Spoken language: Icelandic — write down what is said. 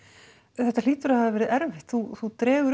þetta hlýtur að hafa verið erfitt þú þú dregur